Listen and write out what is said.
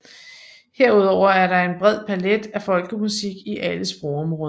Herudover er der en bred palet af folkemusik i alle sprogområder